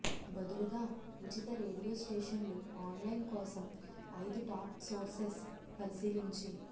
బదులుగా ఉచిత రేడియో స్టేషన్లు ఆన్లైన్ కోసం ఐదు టాప్ సోర్సెస్ పరిశీలించి